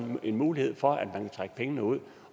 en mulighed for at trække pengene ud